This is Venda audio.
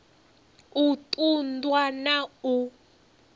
u ṱun ḓwa na u